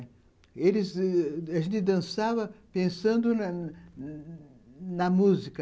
Eles... A gente dançava pensando na na na música.